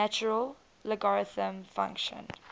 natural logarithm function